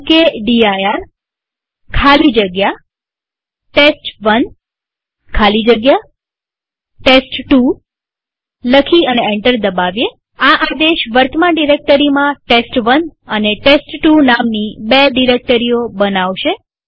mkdir ખાલી જગ્યા test one ખાલી જગ્યા ટેસ્ટ2 લખી અને એન્ટર દબાવીએઆ આદેશ વર્તમાન ડિરેક્ટરીમાં ટેસ્ટ1 અને ટેસ્ટ2 નામની બે ડિરેક્ટરીઓ બનાવશે